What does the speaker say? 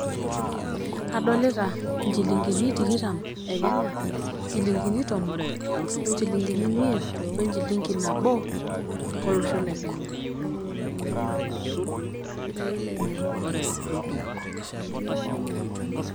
Adolita nchilingini tikitam e Kenya, nchilingini tomon ,onchilingini imiet, we enchilingi nabo olosho le Kenya.